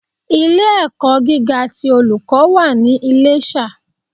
Ilé ẹ̀kọ́ gíga ti Olùkọ́ wà ní Iléṣà